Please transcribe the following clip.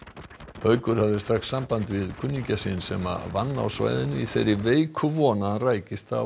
haukur hafði strax samband við kunningja sinn sem vann á svæðinu í þeirri veiku von að hann rækist á